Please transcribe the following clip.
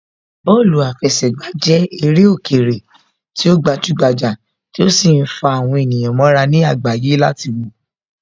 Bọ́ọ̀lù àfẹsẹ̀gbà jẹ́ eré òkèèrè tí ó gbajúgbajà tí ó sì ń fa àwọn ènìyàn mọ́ra ní àgbáyé láti wòó